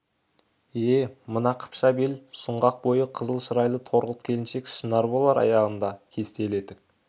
е мына қыпша бел сұңғақ бойы қызыл шырайлы торғылт келіншек шынар болар аяғында кестелі етік